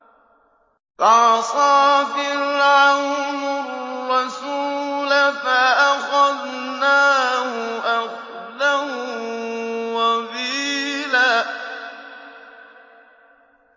فَعَصَىٰ فِرْعَوْنُ الرَّسُولَ فَأَخَذْنَاهُ أَخْذًا وَبِيلًا